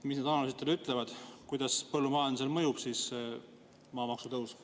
Mis need analüüsid teile ütlevad, kuidas põllumajandusele mõjub maamaksu tõus?